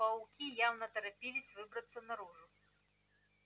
пауки явно торопились выбраться наружу